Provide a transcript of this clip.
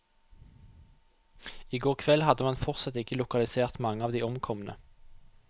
I går kveld hadde man fortsatt ikke lokalisert mange av de omkomne.